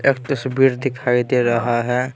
एक तस्वीर दिखाई दे रहा है।